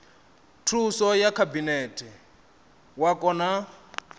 thuso ya khabinete wa kona